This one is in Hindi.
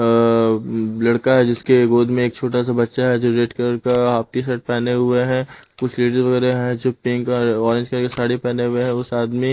अअ लड़का है जिसके गोद में एक छोटा सा बच्चा है जो रेड कलर का हाफ टी शर्ट पहने हुए हैं कुछ लेडीज वगैरह हैं जो पिंक और ऑरेंज कर के साड़ी पहने हुए हैं उस आदमी--